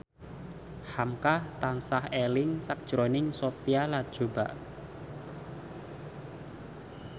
hamka tansah eling sakjroning Sophia Latjuba